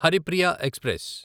Haripriya express